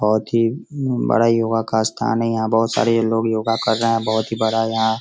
बहोत ही बड़ा योगा का स्थान है | यहाँ बहोत सारे लोग योगा कर रहे हैं | बहोत ही बड़ा यहाँ --